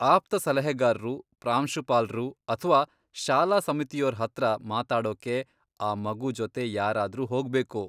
ಆಪ್ತ ಸಲಹೆಗಾರ್ರು, ಪ್ರಾಂಶುಪಾಲ್ರು ಅಥ್ವಾ ಶಾಲಾ ಸಮಿತಿಯೋರ್ ಹತ್ರ ಮಾತಾಡೋಕೆ ಆ ಮಗು ಜೊತೆ ಯಾರಾದ್ರೂ ಹೋಗ್ಬೇಕು.